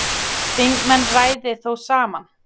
Þingmenn ræði þó saman.